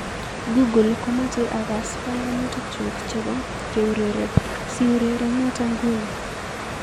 Google komoche akass banganutikngu chebo keurereb, siureren noto nguni